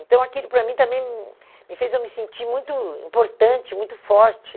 Então aquilo para mim também hum me fez eu me sentir muito importante, muito forte.